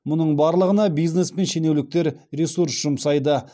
мұның барлығына бизнес пен шенеуніктер ресурс жұмсайды